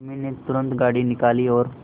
उर्मी ने तुरंत गाड़ी निकाली और